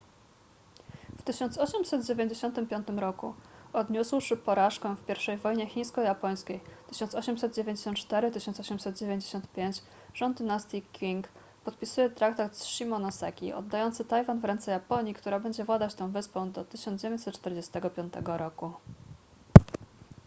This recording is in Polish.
w 1895 roku odniósłszy porażkę w pierwszej wojnie chińsko-japońskiej 1894–1895 rząd dynastii qing podpisuje traktat z shimonoseki oddający tajwan w ręce japonii która będzie władać tą wyspą do 1945 roku